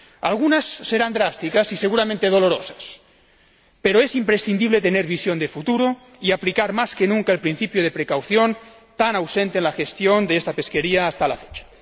algunas serán drásticas y seguramente dolorosas, pero es imprescindible tener visión de futuro y aplicar más que nunca el principio de cautela, tan ausente en la gestión de esta pesquería hasta la fecha.